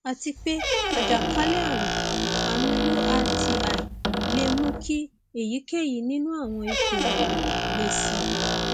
àti pé àjàkálẹ ààrùn ààrùn urti le mú kí èyíkéyìí nínú àwọn ipò wọnyií le síi